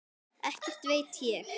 Ekkert veit ég.